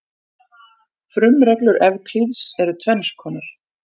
Frumreglur Evklíðs eru tvenns konar.